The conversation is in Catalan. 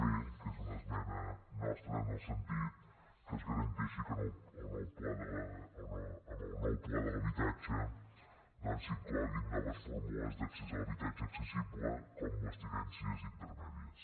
b que és una esmena nostra en el sentit que es garanteixi que en el nou pla de l’habitatge doncs s’incloguin noves fórmules d’accés a l’habitatge accessible com les tinences intermèdies